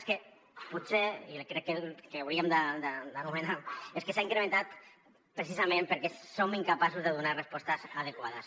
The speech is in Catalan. és que potser i crec que ho hauríem d’anomenar és que s’ha incrementat precisament perquè som incapaços de donar respostes adequades